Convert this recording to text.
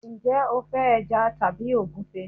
njé o fe eja tabi ogunfe